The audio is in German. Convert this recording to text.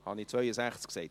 Entschuldigung.